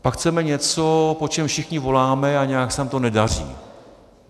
Pak chceme něco, po čem všichni voláme, a nějak se nám to nedaří.